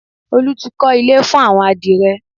Olú ti kọ́ ilé fún àwọn adìrẹ